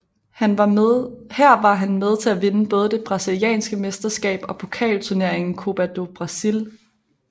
Her var han med til at vinde både det brasilianske mesterskab og pokalturneringen Copa do Brasil